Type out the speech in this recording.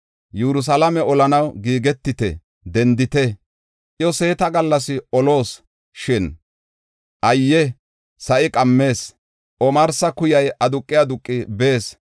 “Yerusalaame olanaw giigetite! Dendite! Iya seeta gallas oloos. Shin ayye! Sa7i qammees; omarsa kuyay aduqi aduqi bees.